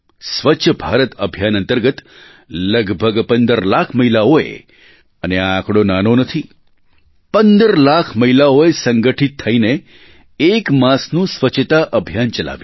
સ્વચ્છભારત અભિયાન અંતર્ગત લગભગ 15 લાખ મહિલાઓએ અને આ આંકડો નાનો નથી 15 લાખ મહિલાઓએ સંગઠિત થઈને એક માસનું સ્વચ્છતા અભિયાન ચલાવ્યું